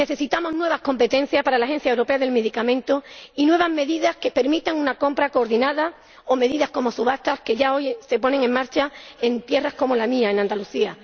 Necesitamos nuevas competencias para la Agencia Europea de Medicamentos y nuevas medidas que permitan una compra coordinada, o medidas como subastas, que ya hoy se ponen en marcha en tierras como la mía, Andalucía.